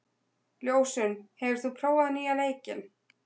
Ljósunn, hefur þú prófað nýja leikinn?